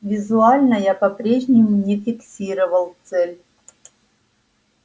визуально я по-прежнему не фиксировал цель